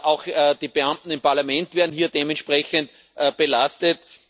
Auch die Beamten im Parlament werden hier dementsprechend belastet.